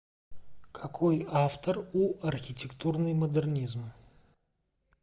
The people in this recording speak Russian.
какой автор у архитектурный модернизм